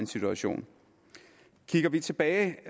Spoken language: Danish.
situation kigger vi tilbage